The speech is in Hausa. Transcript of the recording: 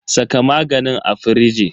Saka maganin a firiji.